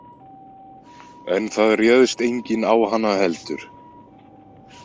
En það réðst enginn á hana heldur.